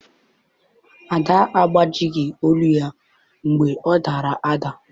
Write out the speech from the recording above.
Ada agbajighị olu ya mgbe ọ dara ada.